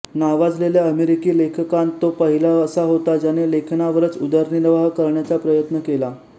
नावाजलेल्या अमेरिकी लेखकांत तो पहिला असा होता ज्याने लेखनावरच उदरनिर्वाह करण्याचा प्रयत्न केला